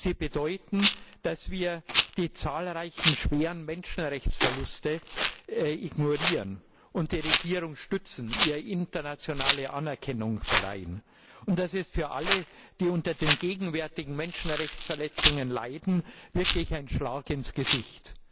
Sie bedeuten, dass wir die zahlreichen schweren Menschenrechtsverletzungen ignorieren und die Regierung stützen, ihr internationale Anerkennung verleihen. Das ist für alle, die unter den gegenwärtigen Menschenrechtsverletzungen leiden, wirklich ein Schlag ins Gesicht.